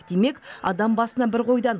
демек адам басына бір қойдан